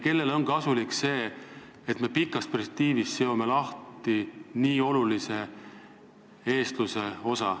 Kellele on kasulik, et me pikas perspektiivis seome oma riigist lahti nii olulise osa eestlusest?